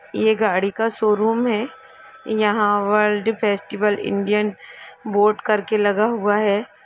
ये गाड़ी का शोरूम हैयहा वर्ल्ड फेस्टिवल इन्डियन बोर्ड करके लगा हुआ है।